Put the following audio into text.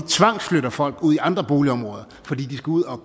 tvangsflytter folk ud i andre boligområder fordi de skal ud og